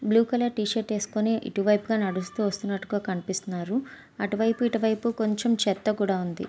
Blue colour T shirt వేసుకుని ఇటువైపు గా నడుస్తూ వస్తున్నట్టుగా కనిపిస్తున్నారు అటువైపు ఇటువైపు కొంచెం చెత్త కూడా ఉంది.